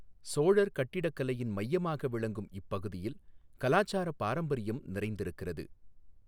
சோழர் கட்டிடக்கலையின் மையமாக விளங்கும் இப்பகுதியில் கலாசார பாரம்பரியம் நிறைந்திருக்கிறது.